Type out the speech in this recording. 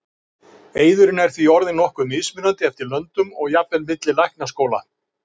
Eiðurinn er því orðinn nokkuð mismunandi eftir löndum og jafnvel milli læknaskóla.